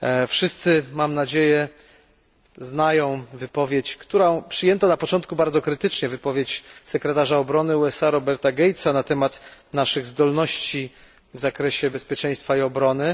Wszyscy, mam nadzieję, znają wypowiedź którą przyjęto na początku bardzo krytycznie wypowiedź sekretarza obrony USA Roberta Gates'a na temat naszych zdolności w zakresie bezpieczeństwa i obrony.